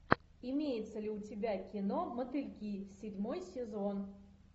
имеется ли у тебя кино мотыльки седьмой сезон